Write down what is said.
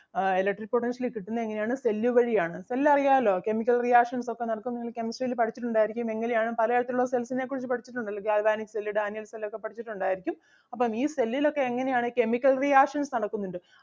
ആഹ് electric potential കിട്ടുന്നത് എങ്ങനെ ആണ് cell വഴി ആണ് cell അറിയാല്ലോ chemical reaction ഒക്കെ നടത്തുന്നത് കെമിസ്ട്രിയിൽ പഠിച്ചിട്ടുണ്ടാരിക്കും എങ്ങനെ ആണ് പലതരത്തിൽ ഉള്ള cells നെ കുറിച്ച് പഠിച്ചിട്ടുണ്ടല്ലോ ഗാൽവാനിക് cell ഡാനിയേൽ cell ഒക്കെ പഠിച്ചിട്ടൊണ്ടാരിക്കും. അപ്പം ഈ cell ൽ ഒക്കെ എങ്ങനെ ആണ് chemical reactions നടക്കുന്നുണ്ട്.